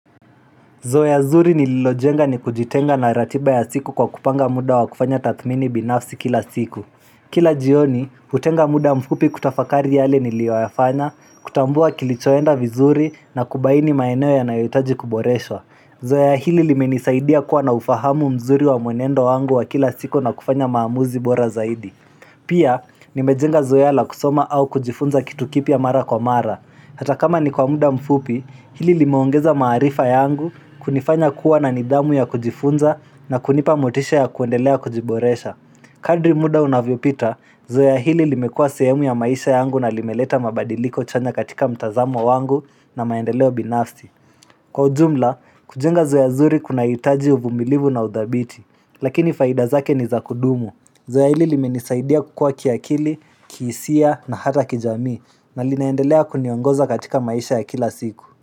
Zoea zuri nililojenga ni kujitenga na ratiba ya siku kwa kupanga muda wa kufanya tathmini binafsi kila siku Kila jioni, hutenga muda mfupi kutafakari yale niliwayafanya, kutambua kilichoenda vizuri na kubaini maeneo ya nayotaji kuboreshwa Zoea hili limenisaidia kuwa na ufahamu mzuri wa mwenendo wangu wa kila siku na kufanya maamuzi bora zaidi Pia, nimejenga zoea la kusoma au kujifunza kitu kipia mara kwa mara Hata kama ni kwa muda mfupi, hili limeongeza maarifa yangu kunifanya kuwa na nidhamu ya kujifunza na kunipa motisha ya kuendelea kujiboresha. Kadri muda unavyo pita, zoe hili limekua seemu ya maisha yangu na limeleta mabadiliko chanya katika mtazamo wangu na maendeleo binafsi. Kwa ujumla, kujenga zoe nzuri kuna hitaji uvumilivu na udhabiti, lakini faida zake ni za kudumu. Zoea hili limenisaidia kukua kiakili, kihisia na hata kijami na linaendelea kuniongoza katika maisha ya kila siku.